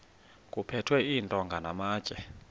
kuphethwe iintonga namatye